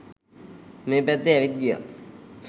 මේ පැත්තේ ඇවිත් ගියා